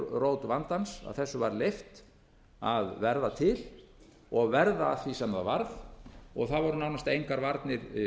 rót vandans að þessu var leyft að verða til og verða að því sem það varð það voru nánast engar varnir